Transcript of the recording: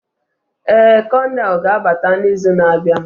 Ee, konelu ga-abata n'izu na-abịa.